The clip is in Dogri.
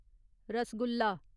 रसगुल्ला